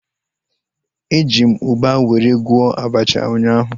Eji m ugba were gwọọ abacha ụnyaahụ